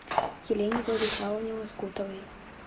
елене владиславовне лоскутовой